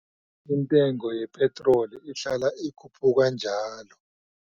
Intengo yepitroli ihlala ikhuphuka njalo.